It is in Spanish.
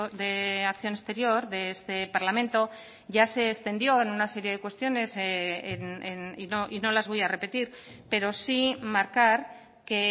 de acción exterior de este parlamento ya se extendió en una serie de cuestiones y no las voy a repetir pero sí marcar que